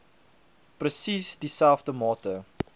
presies dieselfde mate